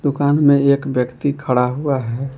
दुकान में एक व्यक्ति खड़ा हुआ है।